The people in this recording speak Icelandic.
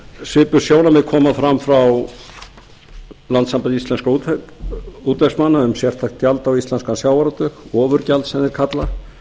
svipuð sjónarmið koma fram frá landssambandi íslenskum útvegsmanna um sérstakt gjald á íslenskan sjávarútveg ofurgjald sem þeir kalla